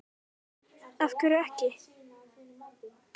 Andri Ólafsson: Af hverju ekki?